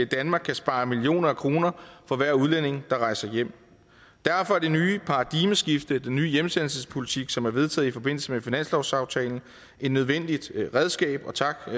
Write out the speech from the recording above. danmark kan spare millioner af kroner for hver udlænding der rejser hjem derfor er det nye paradigmeskift den nye hjemsendelsespolitik som er vedtaget i forbindelse med finanslovsaftalen et nødvendigt redskab og tak for